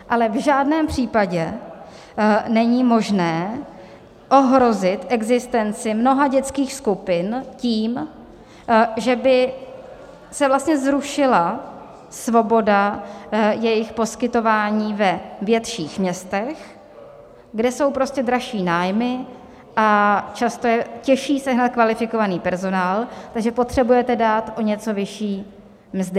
Ale v žádném případě není možné ohrozit existenci mnoha dětských skupin tím, že by se vlastně zrušila svoboda jejich poskytování ve větších městech, kde jsou prostě dražší nájmy a často je těžší sehnat kvalifikovaný personál, takže potřebujete dát o něco vyšší mzdy.